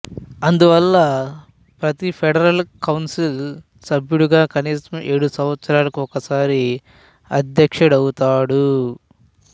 అందువల్ల ప్రతి federal council సభ్యుడూ కనీసం ఏడు సంవత్సరాలకు ఒకసారి అధ్యక్షుడవుతాడు